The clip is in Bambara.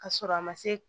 Ka sɔrɔ a ma se